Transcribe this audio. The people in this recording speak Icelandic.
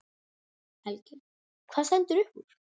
Helgi: Hvað stendur upp úr?